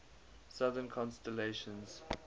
southern constellations